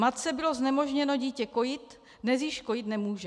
Matce bylo znemožněno dítě kojit, dnes již kojit nemůže.